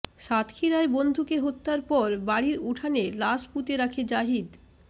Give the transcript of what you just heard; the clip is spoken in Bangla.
সাতক্ষীরায় বন্ধুকে হত্যার পর বাড়ির উঠানে লাশ পুঁতে রাখে জাহিদ